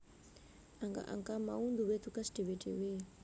Angka angka mau duwé teges dhewe dhewe